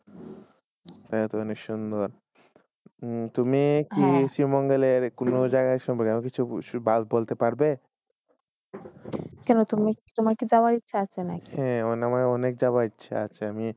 এ তুমি কি শিৱমঙ্গলে কোন জাগাই আশ বলতে পারবে? কেন তুমি তোমার যাবার ইচ্ছা আছে নাকি? হে আমার অনেক যাবার ইচ্ছা আসে, আমি